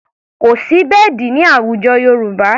Kò sí bẹ́ẹ̀dì ní àwùjọ Yorùbá.